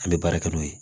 An bɛ baara kɛ n'o ye